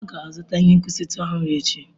Ọ ga-azụta ihe nkwụsịtụ ọhụrụ echi.